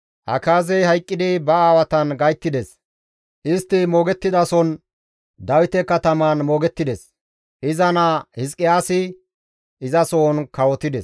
Akaazey hayqqidi ba aawatan gayttides; istti moogettizason Dawite katamaan moogettides; iza naa Hizqiyaasi izasohon kawotides.